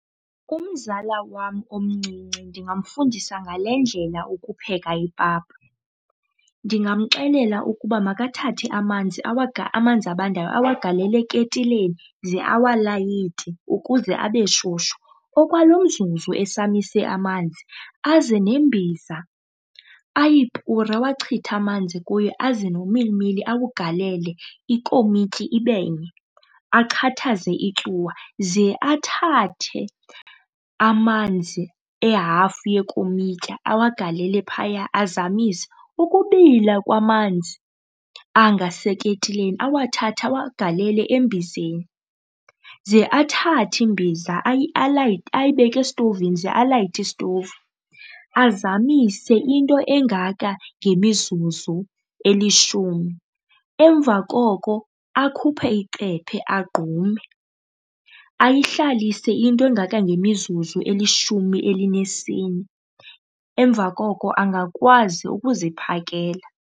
Umzala wam omncinci ndingamfundisa ngale ndlela ukupheka ipapa. Ndingamxelela ukuba makathathe amanzi , amanzi abandayo awagalele eketileni ze awalayite ukuze abe shushu. Okwalomzuzu esamise amanzi aze nembiza ayipure awachithe amanzi kuyo aze nomilimili awugalele ikomityi ibe nye, achathaze ityuwa, ze athathe amanzi ehafu yekomityi awagalele phaya azamise. Ukubila kwamanzi anga aseketile awathathe awagalele embizeni, ze athathe imbiza alayite, ayibeke esitovini ze alayite isitovu, azamise into engaka ngemizuzu elishumi, emva koko akhuphe icephe agqume. Ayihlalise into engaka ngemizuzu elishumi elinesine, emva koko angakwazi uziphakela.